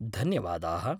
धन्यवादाः!